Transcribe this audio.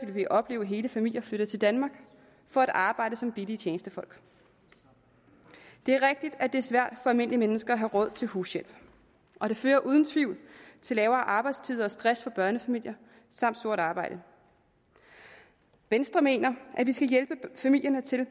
vi opleve hele familier flytte til danmark for at arbejde billigt som tjenestefolk det er rigtigt at det er svært for almindelige mennesker at have råd til hushjælp og det fører uden tvivl til lavere arbejdstid og stress for børnefamilier samt sort arbejde venstre mener at vi skal hjælpe familierne til at